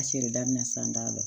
A feere daminɛ sisan da la